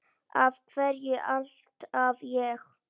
Af hverju alltaf ég?